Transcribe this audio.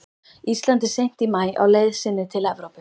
Íslandi seint í maí á leið sinni til Evrópu.